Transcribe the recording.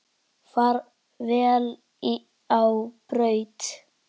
Far vel á braut.